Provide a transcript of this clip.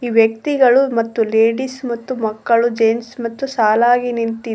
ಈ ವ್ಯಕ್ತಿಗಳು ಮತ್ತು ಲೇಡೀಸ್ ಮತ್ತು ಮಕ್ಕಳು ಜೆನ್ಸ್ ಮತ್ತು ಸಾಲಾಗಿ ನಿಂತಿದ--